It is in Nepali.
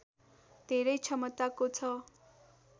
धेरै क्षमताको छ